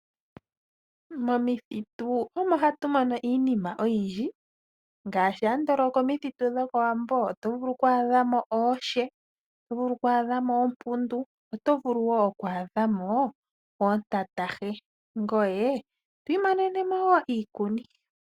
Momuthitu omo hatu mono iinima oyindji ngaashi andolo oko mithitu dhokowambo oto vulu oku adhamo ooshe, oto vulu oku adhamo oompundu ,oto vulu wo oku adhamo oontantahe ngoye to imonene wo iikuni .